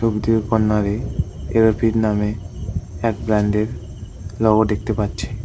ছবিটির কর্নারে এরোফিট নামে এক ব্র্যান্ডের লোগো দেখতে পাচ্ছি।